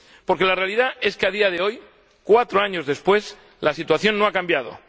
Porque la realidad es que a día de hoy, cuatro años después, la situación no ha cambiado.